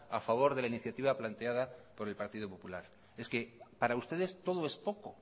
a favor de la iniciativa planteada por el partido popular es que para ustedes todo es poco